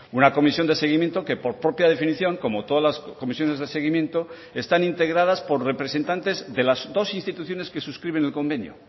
una comisión de seguimiento que por propia definición como todas las comisiones de seguimiento están integradas por representantes de las dos instituciones que suscriben el convenio